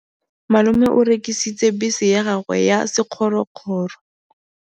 Malome o rekisitse bese ya gagwe ya sekgorokgoro.